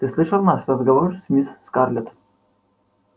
ты слышал наш разговор с мисс скарлетт